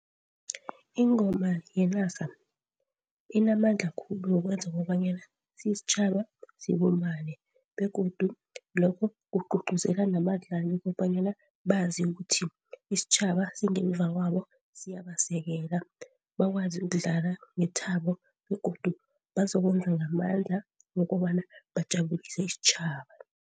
Ingoma yenarha inamandla khulu wokwenza kobanyana sitjhaba sibumbane, begodu lokho kugcugcuzela nabadlali ukobanyana bazi ukuthi isitjhaba singemva kwabo siyabasekela. Bakwazi ukudlala ngethabo begodu bazokwenza ngamandla ukobana bajabulise isitjhaba.